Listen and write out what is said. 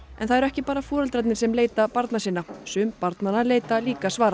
en það eru ekki bara foreldrarnir sem leita barna sinna sum barnanna leita líka svara